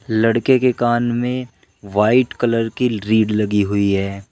लड़के के कान में वाइट कलर की लीड लगी हुई है।